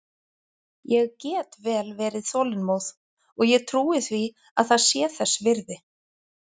Ég get vel verið þolinmóð og ég trúi því að það sé þess virði.